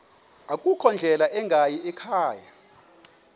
akukho ndlela ingayikhaya